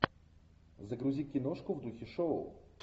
загрузи киношку в духе шоу